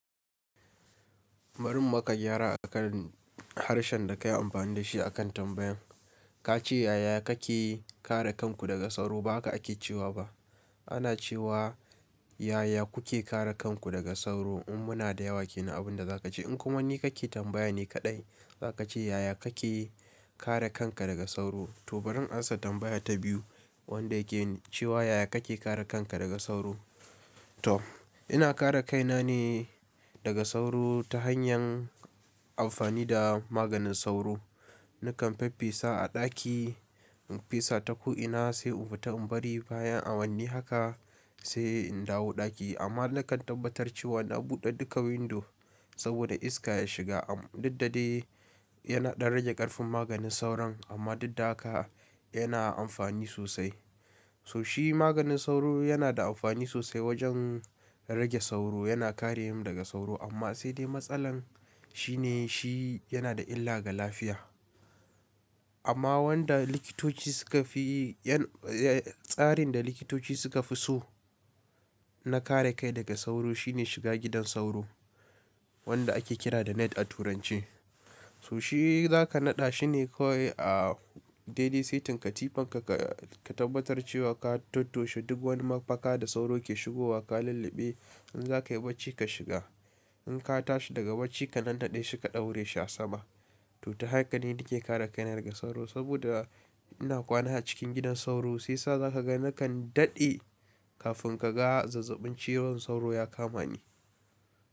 Barin maka gyara a kan harshen da ka yi amfani da shi a kan tambayan. Ka ce yaya kake kare kanku daga sauro ba hake ake cewa ba. Ana cewa yaya kuke kare kanku daga sauro in muna da yawa ke na abin da za ka ce. In kuma wani kake tambaya ne kaɗai za ka ce yaya kake kare kanka daga sauro. To barin ansa tambaya ta biyu wanda yake cewa yaya kake kare kanka daga sauro. To ina kare kaina ne daga sauro ta hanyar amfani da maganin sauro. Nakan faf fesa a ɗaki, in fesa ta ko ina sai in fita in bari bayan a wani haka sai in dawo ɗaki. Amma nakan tabbatar cewa na buɗe duka windo saboda iska ya shiga. Duk dadai yana ɗan rage ƙarfin maganin sauron amma dukda haka yana da amfani sosai. So shi maganin sauro yana da amfani sosai wajen rage sauro, yana kare mu daga sauro amma sai dai matsalar shi ne shi yana da illa ga lafiya. Amma wanda likitoci suka fi tsarin da likitoci suka fi so na kare kai daga sauro shine shiga gidan sauro wanda ake kira da net a turance. So shi za ka naɗa shi ne kawai a daily setting katifanka ka tabbatar cewa ka toto she duk wani mafaka da sauro ke shigowa ka lulluɓe in za ka yi bacci ka shiga. In ka tashi daga bacci ka nannaɗade shi ka daure shi a sama. To ta haka ne nake kare kaina daga sauro saboda ina kwana a cikin gidan sauro sai sa za ka ga nakan daɗe kafin ka ga zazzabin ciwon sauro ya kama ni.